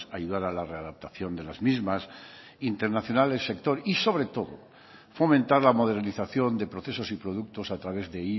ayudar a la readaptación de las mismas internacional el sector y sobre todo fomentar la modernización de procesos y productos a través de